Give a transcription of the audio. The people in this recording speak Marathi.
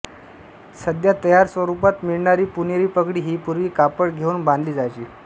सध्या तयार स्वरूपात मिळणारी पुणेरी पगडी ही पूर्वी कापड घेऊन बांधली जायची